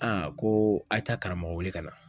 Aa ko a ye taa karamɔgɔ wele ka na